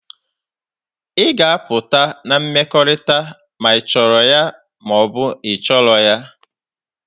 Ị ga-apụta na mmekọrịta ma ị chọrọ ya ma ọ bụ ị chọghị ya!